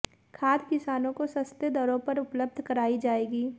खाद किसानों को सस्ते दरों पर उपलब्ध कराई जाएगी